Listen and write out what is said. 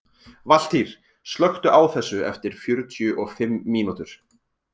Valtýr, slökktu á þessu eftir fjörutíu og fimm mínútur.